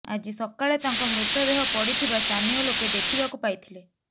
ଆଜି ସକାଳେ ତାଙ୍କ ମୃତଦେହ ପଡ଼ିଥିବା ସ୍ଥାନୀୟ ଲୋକେ ଦେଖିବାକୁ ପାଇଥିଲେ